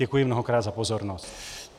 Děkuji mnohokrát za pozornost.